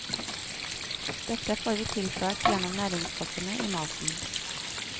Dette får vi tilført gjennom næringsstoffene i maten.